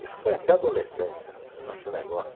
Isso foi até adolescência, essa esse negócio.